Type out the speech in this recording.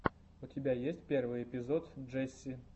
у тебя есть первый эпизод джесси